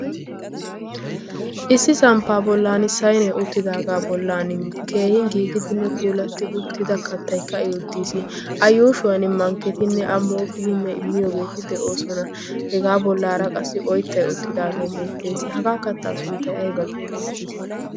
Issi samppaa bollan saynee uttidaagaa bollan keehin giigidinne puulatti uttida kattaykka uttiis. A yuushuwan mankketinne a mooqqidi miyoogeeti deoosona. Hegaa bollaara qassi oyttay uttidaagee beettees. Hagaa kattaa sunttay ayba geetettii?